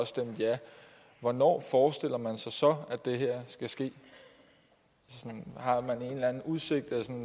stemt ja hvornår forestiller man sig så at det her skal ske har man en eller anden udsigt